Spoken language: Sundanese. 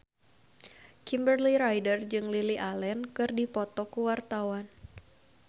Kimberly Ryder jeung Lily Allen keur dipoto ku wartawan